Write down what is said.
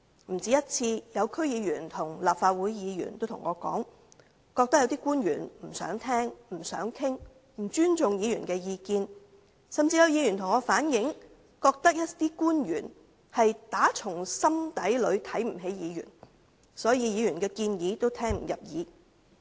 不止一次有區議員和立法會議員告訴我，覺得有些官員不想聽他們的意見、不想討論、不尊重議員的意見，甚至有議員向我反映，覺得有些官員打從心底裏看不起議員，所以議員的建議也聽不入耳。